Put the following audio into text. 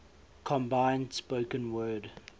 combined spoken word